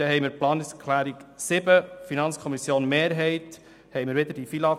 Bei der Planungserklärung 7 der FiKo-Mehrheit haben wir wieder die FILAG-Problematik.